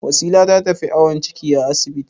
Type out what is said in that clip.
Wasila ta tafi awon ciki a asibiti.